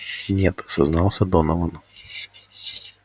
нет сознался донован